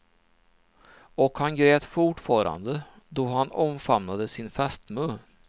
Och han grät fortfarande då han omfamnade sin fästmö.